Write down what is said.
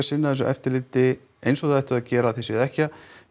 sinna þessu eftirliti eins og þið ættuð að gera séuð ekki að